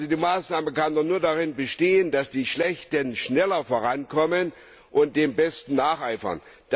Die Maßnahme kann doch nur darin bestehen, dass die schlechten schneller vorankommen und den Besten nacheifern.